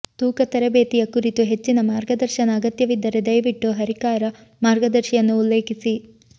ತೂಕ ತರಬೇತಿಯ ಕುರಿತು ಹೆಚ್ಚಿನ ಮಾರ್ಗದರ್ಶನ ಅಗತ್ಯವಿದ್ದರೆ ದಯವಿಟ್ಟು ಹರಿಕಾರ ಮಾರ್ಗದರ್ಶಿಯನ್ನು ಉಲ್ಲೇಖಿಸಿ